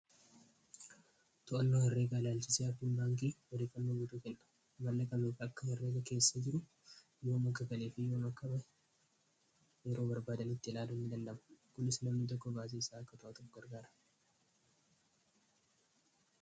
to'annoo herreegaalaalchisiardundaangee walii fannoo guduu kenna mallakameefi akka erreega keessa jiru yima maggagalee fiiyamakkama yeroo barbaadanitti ilaalu ni lallamu kunis namni tokko baasie isaa akka to'aa tokko argaara